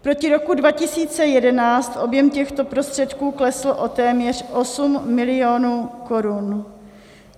Proti roku 2011 objem těchto prostředků klesl o téměř 8 mil. korun.